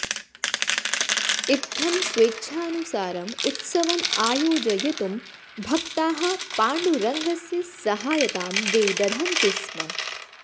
इत्थम् स्वेच्छानुसारम् उत्सवम् आयोजयितुं भक्ताः पाण्डुरङ्गस्य सहायतां विदधन्ति स्म